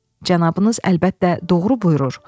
cənabınız əlbəttə doğru buyurur.